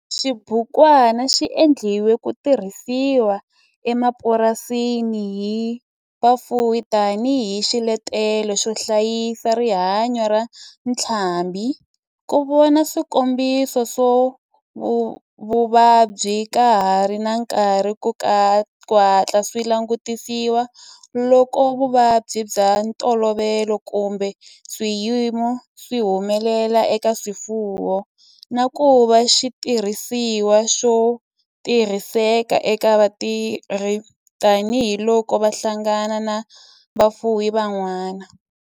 Xibukwana xi endliwe ku tirhisiwa emapurasini hi vafuwi tani hi xiletelo xo hlayisa rihanyo ra ntlhambhi, ku vona swikombiso swa vuvabyi ka ha ri na nkarhi ku hatla swi langutisiwa loko vuvabyi bya ntolovelo kumbe swiyimo swi humelela eka swifuwo, na ku va xitirhisiwa xo tirhiseka eka vatirhi tani hi loko va hlangana na vafuwi van'wana.